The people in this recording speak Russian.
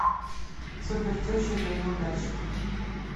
супертеща для неудачника